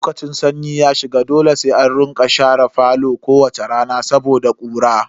Lokacin sanyi ya shiga dole sai an rika share falo kowace rana saboda ƙura.